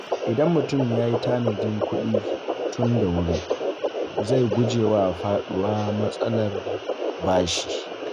Idan mutum ya yi tanadin kuɗi tun da wuri, zai guje wa faɗawa matsalar bashi.